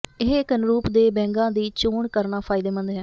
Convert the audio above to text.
ਇਹ ਇਕ ਅਨੁਰੂਪ ਦੇ ਬੈਗਾਂ ਦੀ ਚੋਣ ਕਰਨਾ ਫਾਇਦੇਮੰਦ ਹੈ